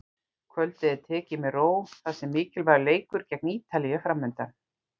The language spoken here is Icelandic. Kvöldið er tekið með ró þar sem mikilvægur leikur gegn Ítalíu er framundan.